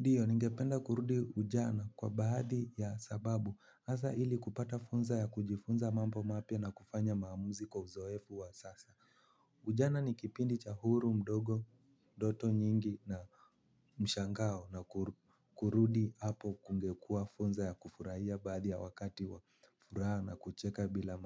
Ndiyo ningependa kurudi ujana kwa baadhi ya sababu hasa ili kupata funza ya kujifunza mambo mapya na kufanya maamuzi kwa uzoefu wa sasa. Ujana ni kipindi cha huru mdogo doto nyingi na mshangao na kurudi hapo kungekua funza ya kufurahia baadhi ya wakati wa furaha na kucheka bila